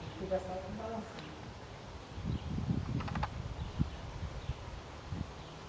Ele fica só balançando.